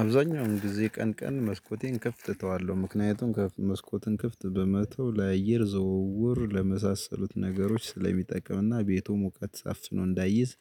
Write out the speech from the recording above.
አብዛኛውን ጊዜ ቀን ቀን መስኮቴን ክፍት እተዋለሁ ምክንያቱም መስኮትን ክፍት በመተው ለአየር ዝውውር ለመሳሰሉት ነገሮች ስለሚጠቀምና ቤቱ ሙቀት አፍኖ እንዳይዝ